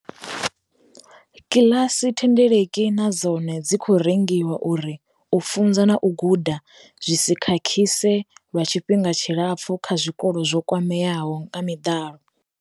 Kiḽasi thendeleki na dzone dzi khou rengiwa uri u funza na u guda zwi si khakhise lwa tshifhinga tshilapfu kha zwikolo zwo kwameaho nga miḓalo.